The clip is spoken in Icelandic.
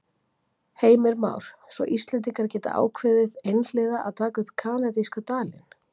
Heimir Már: Svo Íslendingar geta ákveðið einhliða að taka upp kanadíska dalinn?